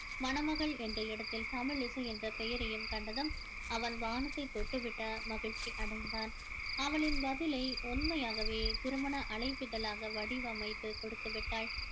மணமகள் என்ற இடத்தில தமிழிசை என்ற பெயரையும் கண்டதும் அவன் வானத்தை தொட்டுவிட்ட மகிழ்ச்சி அடைந்தான் அவளின் பதிலை உண்மையாகவே திருமண அழைப்பிதழாக வடிவமைத்து கொடுத்து விட்டாள்